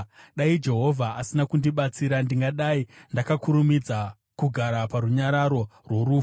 Dai Jehovha asina kundibatsira, ndingadai ndakakurumidza kugara parunyararo rworufu.